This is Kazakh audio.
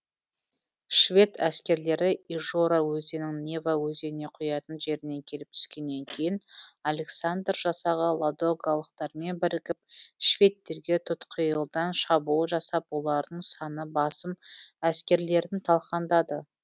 швед әскерлері ижора өзенің нева өзеніне құятын жеріне келіп түскеннен кейін александр жасағы ладогалықтармен бірігіп шведтерге тұтқиылдан шабуыл жасап олардың саны басым әскерлерін талқандады